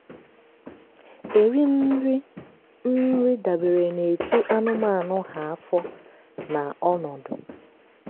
eri m nri m nri dabere n'etu anụmanụ ha afọ na ọnọdụ.